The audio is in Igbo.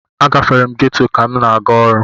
Agafere m geto ka m na-aga ọrụ.